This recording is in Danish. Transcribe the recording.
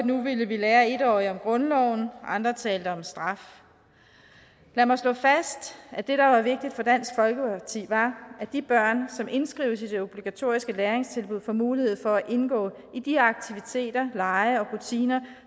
nu ville vi lære en årige om grundloven andre talte om straf lad mig slå fast at det der var vigtigt for dansk folkeparti var at de børn som indskrives i de obligatoriske læringstilbud får mulighed for at indgå i de aktiviteter lege og rutiner